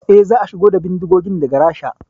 Eh, za a shigo da bindigogin daga Rasha